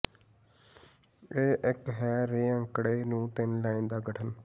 ਇਹ ਇੱਕ ਹੈ ਰੇਿਾ ਅੰਕੜੇ ਨੂੰ ਤਿੰਨ ਲਾਈਨ ਦਾ ਗਠਨ